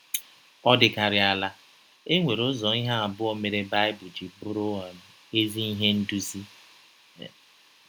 Ọ dịkarịa ala, e nwere ụzọ ihe abụọ mere Baịbụl ji bụrụ um ezi ihe ndụzi. um